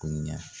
Ko ɲɛ